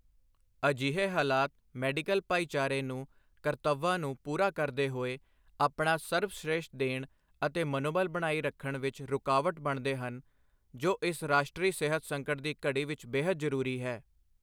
ਅਜਿਹੇ ਹਾਲਾਤ ਮੈਡੀਕਲ ਭਾਈਚਾਰੇ ਨੂੰ ਕਰਤੱਵਾਂ ਨੂੰ ਪੂਰਾ ਕਰਦੇ ਹੋਏ ਆਪਣਾ ਸਰਬਸ਼੍ਰੇਸਠ ਦੇਣ ਅਤੇ ਮਨੋਬਲ ਬਣਾਈ ਰੱਖਣ ਵਿੱਚ ਰੁਕਾਵਟ ਬਣਦੇ ਹਨ, ਜੋ ਇਸ ਰਾਸ਼ਟਰੀ ਸਿਹਤ ਸੰਕਟ ਦੀ ਘੜੀ ਵਿੱਚ ਬੇਹੱਦ ਜ਼ਰੂਰੀ ਹੈ।